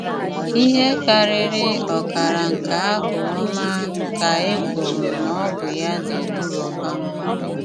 Íhé kárírí ọ́kára nké ábụ́ ọ́má ká é kwúru ná ọ́ bụ́ yá dére. um